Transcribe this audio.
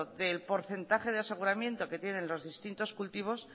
del porcentaje de aseguramiento que tienen los distintos cultivos